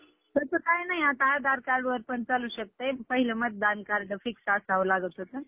हम्म माहितीयाय की, गणपतीपुळ्याला कोण गेलं न्हाई?